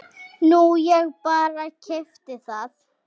Nú ég bara. keypti það.